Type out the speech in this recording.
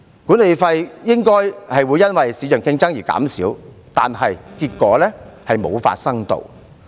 管理費應該會因為市場競爭而減少，但結果卻沒有發生。